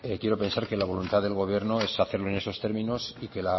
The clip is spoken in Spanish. quiero pensar que la voluntad del gobierno es hacerlo en esos términos y que